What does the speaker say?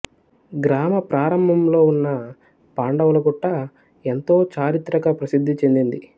గ్రామ ప్రారంభంలో ఉన్న పాండవుల గుట్ట ఎంతో చారిత్రక ప్రసిద్ధి చెందింది